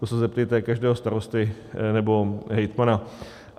To se zeptejte každého starosty nebo hejtmana.